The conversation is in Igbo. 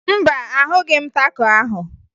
Mba, ahụghị m taco ahụ